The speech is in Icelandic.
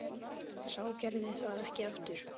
Sá gerði það ekki aftur.